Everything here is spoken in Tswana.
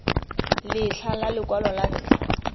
letlha la lekwalo la ntlha